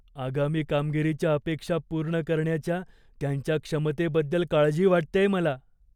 आगामी कामगिरीच्या अपेक्षा पूर्ण करण्याच्या त्यांच्या क्षमतेबद्दल काळजी वाटतेय मला.